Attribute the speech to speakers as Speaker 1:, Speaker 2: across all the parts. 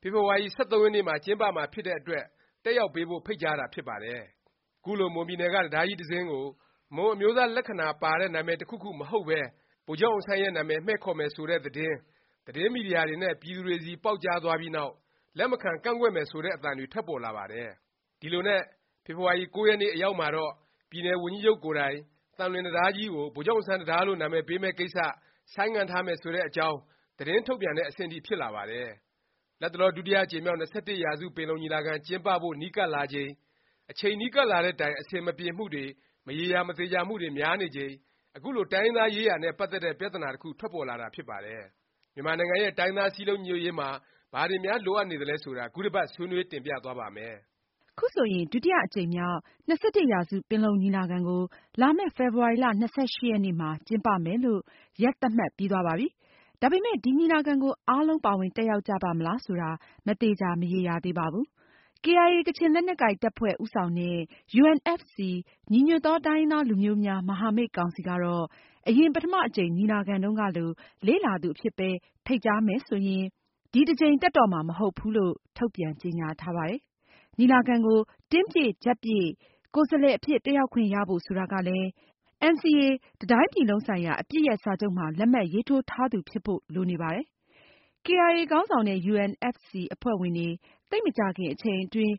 Speaker 1: ဖေဖေါ်ဝါရီ ၁၃ ရက်နေ့မှာ ကျင်းပမှာ ဖြစ်တဲ့အတွက် တက်ရောက်ပေးဖို့ ဖိတ်ကြားတာ ဖြစ်ပါတယ်။ ခုလို မွန်ပြည်နယ်က တံတားကြီး တစ်စင်းကို မွန်အမျိုးသား လက္ခဏာပါတဲ့ နာမည် တစ်ခုခု မဟုတ်ပဲ ဗိုလ်ချုပ်အောင်ဆန်းရဲ့ နာမည် မှည့်ခေါ်မယ် ဆိုတဲ့ သတင်း၊ သတင်းမီဒီယာတွေနဲ့ ပြည်သူတွေဆီ ပေါက်ကြားသွားပြီးနောက် လက်မခံ ကန့်ကွက်မယ် ဆိုတဲ့ အသံတွေ ထွက်ပေါ်လာပါတယ်။ ဒီလိုနဲ့ ဖေဖေါ်ဝါရီလ ၉ ရက်နေ့ အရောက်မှာတော့ ပြည်နယ် ဝန်ကြီးချုပ်ကိုယ်တိုင် သံလွင်တံတားကြီးကို ဗိုလ်ချုပ်အောင်ဆန်း တံတား လို့ နာမည်ပေးမယ့် ကိစ္စ ဆိုင်းငံ့ထားမယ် ဆိုတဲ့ အကြောင်း သတင်းထုတ်ပြန်တဲ့ အဆင့်ထိ ဖြစ်လာပါတယ်။ လတ်တလော ဒုတိယ အကြိမ်မြောက်၂၁ရာစု ပင်လုံညီလာခံ ကျင်းပဖို့ နီးကပ်လာချိန်၊ အချိန်နီးကပ်လာတဲ့တိုင် အဆင်မပြေမှုတွေ၊ မရေရာ မသေခြာမှုတွေ များနေချိန် အခုလို တိုင်းရင်းသားရေးရာနဲ့ ပတ်သက်တဲ့ ပြသနာ တစ်ခု ထွက်ပေါ်လာတာ ဖြစ်ပါတယ်။ မြန်မာနိုင်ငံရဲ့ တိုင်းရင်းသား စည်းလုံးညီညွတ်ရေးမှာ ဘာတွေများ လိုအပ်နေသလဲ ဆိုတာ ခုတစ်ပါတ် ဆွေးနွေး တင်ပြသွားပါ့မယ်။
Speaker 2: ခုဆိုရင် ဒုတိယ အကြိမ်မြောက် ၂၁ ရာစု ပင်လုံညီလာခံကို လာမယ့် ဖေဖေါ်ဝါရီ ၂၈ ရက်နေ့မှာ ကျင်းပမယ်လို့ ရက်သတ်မှတ် ပြီးသွားပါပြီ။ ဒါပေမယ့် ဒီ ညီလာခံကို အားလုံး ပါဝင်တက်ရောက်ကြပါ့မလား ဆိုတာ မသေခြာ မရေရာသေးပါဘူး။ KIA ကချင်လက်နက်ကိုင် တပ်ဖွဲ့ ဦးဆောင်တဲ့ UNFC ညီညွတ်သော တိုင်းရင်းသားလူမျိုးများ မဟာမိတ် ကောင်စီ ကတော့ အရင် ပထမ အကြိမ် ညီလာခံတုန်းကလို လေ့လာသူအဖြစ်ပဲ ဖိတ်ကြားမယ် ဆိုရင် ဒီတစ်ကြိမ် တက်တော့မှာ မဟုတ်ဘူးလို့ ထုတ်ပြန်ကြေငြာထားပါတယ်။ ညီလာခံကို တင်းပြည့်ကြပ်ပြည့် ကိုယ်စားလှယ် အဖြစ် တက်ရောက်ခွင့်ရဖို့ ဆိုတာကလည်း NCA တစ်တိုင်းပြည်လုံးဆိုင်ရာ အပစ်ရပ် စာချုပ်မှာ လက်မှတ်ရေးထိုးထားသူ ဖြစ်ဖို့ လိုနေပါတယ်။ ကေအိုင်အေ ခေါင်းဆောင်တဲ့ UNFC အဖွဲ့ဝင်တွေ သိပ်မကြာခင် အချိန်အတွင်း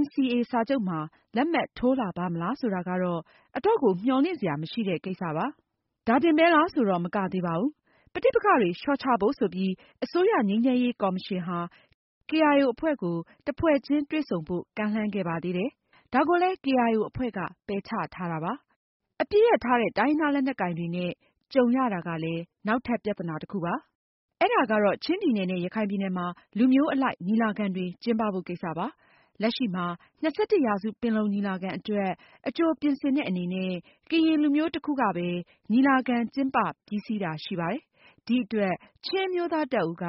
Speaker 2: NCA စာချုပ်မှာ လက်မှတ်ထိုးလာပါ့မလား ဆိုတာကတော့ အတော့်ကို မျှော်လင့်စရာ မကောင်းတဲ့ ကိစ္စပါ။ ဒါတင်ပဲလား ဆိုတော့ မကသေးပါဘူး။ ပဋိပက္ခတွေ လျော့ချဖို့ ဆိုပြီး အစိုးရ ငြိမ်းချမ်းရေး ကော်မရှင်ဟာ ကေအိုင်အို အဖွဲ့ကို တစ်ဖွဲ့ချင်း တွေ့ဆုံဖို့ ကမ်းလှမ်းခဲ့ပါသေးတယ်။ ဒါကိုလည်း ကေအိုင်အို အဖွဲ့က ပယ်ချထားပါတယ်။ အပစ်ရပ်ထားတဲ့ တိုင်းရင်းသား လက်နက်ကိုင်တွေနဲ့ ကြုံရတာကလည်း နောက်ထပ် ပြသနာ တစ်ခုပါ။ အဲဒါကတော့ ချင်းပြည်နယ်နဲ့ ရခိုင်ပြည်နယ်မှာ လူမျိုးအလိုက် ညီလာခံတွေ ကျင်းပပေးဖို့ ကိစ္စပါ။ လက်ရှိမှာ ၂၁ရာစု ပင်လုံညီလာခံအတွက် အကြိုပြင်ဆင်တဲ့ အနေနဲ့ ကရင်လူမျိုး တစ်ခုကပဲ ညီလာခံ ကျင်းပပြီးစီးတာ ရှိပါတယ်။ ဒီအတွက် ချင်းအမျိုးသား တပ်ဦးက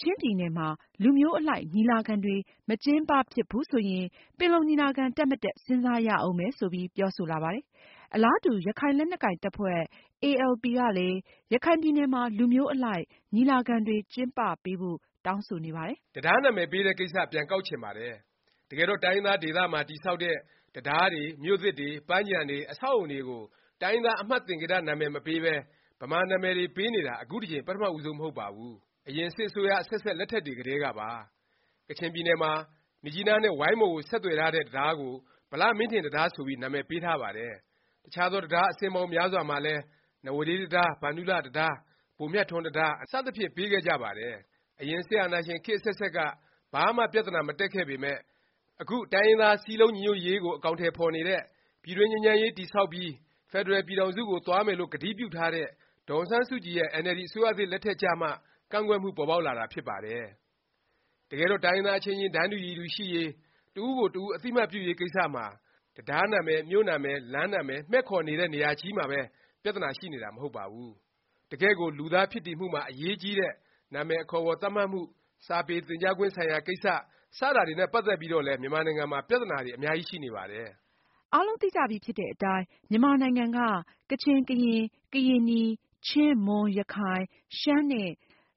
Speaker 2: ချင်းပြည်နယ်မှာ လူမျိုးအလိုက် ညီလာခံတွေ မကျင်းပဖြစ်ဘူး ဆိုရင် ပင်လုံညီလာခံ တက် မတက် စဉ်းစားရဦးမယ် ဆိုပြီး ပြောဆိုလာပါတယ်။ အလားတူ ရခိုင်လက်နက်ကိုင်တပ်ဖွဲ့ ALP ကလည်း ရခိုင်ပြည်နယ်မှာ လူမျိုးအလိုက် ညီလာခံတွေ ကျင်းပပေးဖို့ တောင်းဆိုနေပါတယ်
Speaker 1: ။ တံတားနာမည်ပေးတဲ့ကိစ္စ ပြန်ကောက်ချင်ပါတယ်။ တကယ်တော့ တိုင်းရင်းသားဒေသမှာ တည်ဆောက်တဲ့ တံတားတွေ၊ မြို့သစ်တွေ၊ ပန်းခြံတွေ၊ အဆောက်အဦတွေကို တိုင်းရင်းသား အမှတ်သင်္ကေတ နာမည် မပေးပဲ ဗမာနာမည်တွေ ပေးနေတာ အခုတစ်ကြိမ် ပထမဦးဆုံး မဟုတ်ပါဘူး။ အရင် စစ်အစိုးရ အဆက်ဆက် လက်ထက်တွေ ကတည်းကပါ။ ကချင်ပြည်နယ်မှာ မြစ်ကြီးနားနဲ့ ဝိုင်းမော်ကို ဆက်သွယ်ထားတဲ့ တံတားကို ဗလမင်းထင် တံတား ဆိုပြီး နာမည်ပေးထားပါတယ်။ တခြားသော တံတား အစင်းပေါင်းများစွာမှာလည်း နဝဒေး တံတား၊ ဗန္ဓုလ တံတား၊ ဗိုလ်မြတ်ထွန်းတံတား၊ အနော်ရထာတံတား စသဖြင့် ပေးခဲ့ကြပါတယ်။ အရင် စစ်အာဏာရှင် ခေတ်အဆက်ဆက်က ဘာမှ ပြသနာ မတက်ခဲ့ပေမယ့် အခု တိုင်းရင်းသား စည်းလုံးညီညွတ်ရေးကို အကောင်အထည် ဖော်နေတဲ့၊ ပြည်တွင်းငြိမ်းချမ်းရေး တည်ဆောက်ပြီး ဖက်ဒရယ် ပြည်ထောင်စု ကို သွားမယ်လို့ ကတိပြုထားတဲ့ ဒေါ်အောင်ဆန်းစုကြည်ရဲ့ အင်န်အယ်လ်ဒီ အစိုးရသစ် လက်ထက်ကျမှ ကန့်ကွက်မှု ပေါ်ပေါက်လာတာ ဖြစ်ပါတယ်။ တကယ်တော့ တိုင်းရင်းသား အချင်းချင်း တန်းတူရည်တူ ရှိရေး၊ တစ်ဦးကို တစ်ဦး အသိအမှတ်ပြုရေးကိစ္စမှာ တံတားနာမည်၊ မြို့နာမည်၊ လမ်းနာမည် မှည့်ခေါ်တဲ့နေရာမှာချည်းပဲ ပြသနာ ရှိတာ မဟုတ်ပါဘူး။ တကယ့်ကို လူသားဖြစ်တည်မှုမှာ အရေးကြီးတဲ့ နာမည် အခေါ်အဝေါ် သတ်မှတ်မှု၊ စာပေသင်ကြားခွင့် ဆိုင်ရာကိစ္စ စတာတွေနဲ့ ပတ်သက်ပြီးတော့လည်း မြန်မာနိုင်ငံမှာ ပြသနာတွေ အများကြီး ရှိနေပါတယ်
Speaker 2: ။ အားလုံးသိကြပြီဖြစ်တဲ့အတိုင်း မြန်မာနိုင်ငံက ကချင်၊ ကရင်၊ ကရင်နီ၊ ချင်း၊ မွန်၊ ရခိုင်၊ ရှမ်း နဲ့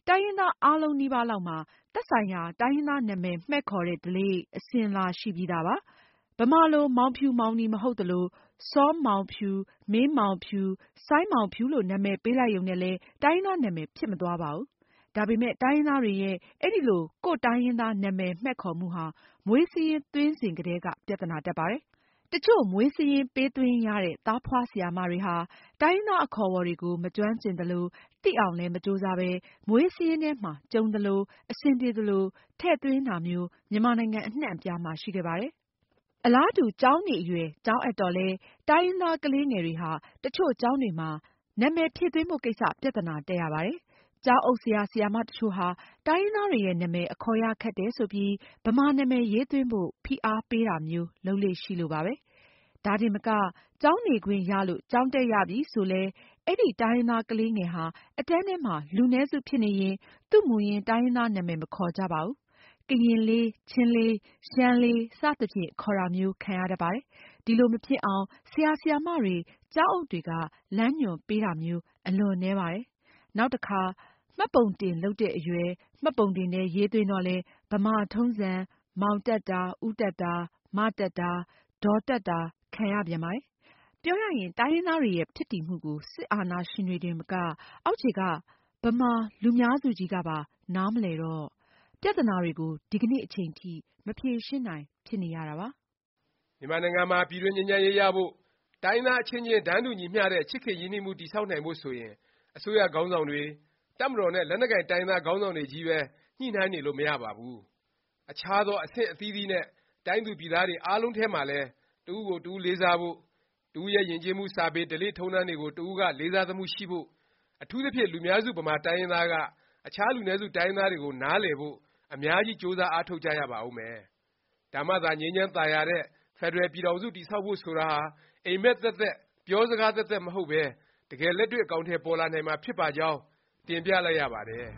Speaker 2: တိုင်းရင်းသား အားလုံးလိုလိုလောက်မှာ သက်ဆိုင်ရာ တိုင်းရင်းသား နာမည်မှည့်ခေါ်တဲ့ ဓလေ့၊ အစဉ်အလာ ရှိပြီးသားပါ။ ဗမာလို မောင်ဖြူ မောင်နီ မဟုတ်သလို၊ စောမောင်ဖြူ၊ မင်းမောင်ဖြူ၊ စိုင်းမောင်ဖြူ လို့ နာမည်ပေးလိုက်ရုံနဲ့လည်း တိုင်းရင်းသား နာမည် ဖြစ်မသွားပါဘူး။ ဒါပေမယ့် တိုင်းရင်းသားတွေရဲ့ အဲလို ကိုယ့်တိုင်းရင်းသား နာမည် မှည့်ခေါ်မှုဟာ မွေးစာရင်း သွင်းစဉ်ကတည်းက ပြသနာ တက်ပါတယ်။ တစ်ချို့ မွေးစာရင်း ပေးသွင်းရတဲ့ သားဖွားဆရာမတွေဟာ တိုင်းရင်းသား အခေါ်အဝေါ်တွေကို မကျွမ်းကျင်သလို၊ သိအောင်လည်း မကြိုးစားပဲ မွေးစာရင်းထဲမှာ ကြုံသလို၊ အဆင်ပြေသလို ထည့်သွင်းတာမျိုး မြန်မာနိုင်ငံ အနှံ့အပြားမှာ ရှိခဲ့ပါတယ်။ အလားတူ ကျောင်းနေအရွယ် ကျောင်းအပ်တော့လည်း တိုင်းရင်းသား ကလေးငယ်တွေဟာ တစ်ချို့ ကျောင်းတွေမှာ နာမည်ဖြည့်သွင်းဖို့ ကိစ္စ ပြသနာ တက်ရပါတယ်။ ကျောင်းအုပ် ဆရာ၊ ဆရာမ တစ်ချို့ဟာ တိုင်းရင်းသားတွေရဲ့ နာမည် အခေါ်ရ ခက်တယ် ဆိုပြီး ဗမာနာမည် ရေးသွင်းဖို့ ဖိအားပေးတာမျိုး လုပ်လေ့ရှိလို့ပါပဲ။ ဒါတင်မက ကျောင်းနေခွင့်ရလို့ ကျောင်းတက်ရပြီဆိုလည်း အဲဒီ တိုင်းရင်းသား ကလေးငယ်ဟာ အတန်းထဲမှာ လူနည်းစု ဖြစ်နေရင် သူ့မူရင်း တိုင်းရင်းသား နာမည် မခေါ်ကြပါဘူး။ ကရင်လေး၊ ချင်းလေး၊ ရှမ်းလေး စသဖြင့် ခေါ်တာမျိုး ခံရတတ်ပါတယ်။ ဒီလို မဖြစ်အောင် ဆရာ၊ ဆရာမတွေ၊ ကျောင်းအုပ်တွေက လမ်းညွှန်ပေးတာမျိုး အလွန်နည်းပါတယ်။ နောက်တစ်ခါ မှတ်ပုံတင် လုပ်တဲ့အရွယ် မှတ်ပုံတင်ထဲ ရေးသွင်းတော့လည်း ဗမာထုံးစံ မောင် တပ်တာ၊ ဦးတပ်တာ၊ မ တပ်တာ၊ ဒေါ်တပ်တာ ခံရပြန်ပါတယ်။ ပြောရရင် တိုင်းရင်းသားတွေ ရဲ့ ဖြစ်တည်မှု ကို စစ်အာဏာရှင်တွေတင်မက အောက်ခြေက ဗမာ လူများစုကြီးကပါ နားမလည်တော့ ပြသနာတွေကို ဒီကနေ့အချိန်ထိ မဖြေရှင်းနိုင် ဖြစ်နေရတာပါ
Speaker 1: ။ မြန်မာနိုင်ငံမှာ ပြည်တွင်း ငြိမ်းချမ်းရေးရဖို့၊ တိုင်းရင်းသား အချင်းချင်း တန်းတူညီမျှတဲ့ ချစ်ခင်ရင်းနှီးမှု တည်ဆောက်နိုင်ဖို့ ဆိုရင် အစိုးရခေါင်းဆောင်တွေ၊ တပ်မတော်နဲ့ လက်နက်ကိုင် တိုင်းရင်းသား ခေါင်းဆောင်တွေ ချည်းပဲ ညှိနှိုင်းနေလို့ မရပါဘူး။ အခြားသော အဆင့်အသီးသီးနဲ့ တိုင်းသူပြည်သားတွေ အားလုံးထဲမှာလည်း တစ်ဦးကို တစ်ဦးလေးစားဖို့၊ တစ်ဦးရဲ့ ယဉ်ကျေးမှု၊ စာပေ၊ ဓလေ့ထုံးတမ်းတွေကို တစ်ဦးက လေးစားသမှုရှိဖို့၊ အထူးသဖြင့် လူများစု ဗမာတိုင်းရင်းသားက အခြား လူနည်းစု တိုင်းရင်းသားတွေကို နားလည်ဖို့ အများကြီး ကြိုးစားအားထုတ်ကြရပါဦးမယ်။ ဒါမှသာ ငြိမ်းချမ်းသာယာတဲ့ ဖက်ဒရယ် ပြည်ထောင်စု တည်ဆောက်ဖို့ ဆိုတာဟာ အိပ်မက် သက်သက်၊ ပြောစကားသက်သက် မဟုတ်ပဲ တကယ်လက်တွေ့ အကောင်အထည် ပေါ်လာနိုင်မှာ ဖြစ်ပါကြောင်း တင်ပြလိုက်ရပါတယ်။